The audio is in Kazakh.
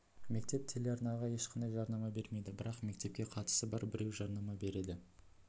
мектеп телеарнаға ешқандай жарнама бермейді бірақ мектепке қатысы бар біреу жарнама береді